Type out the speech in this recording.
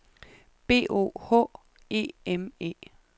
B O H E M E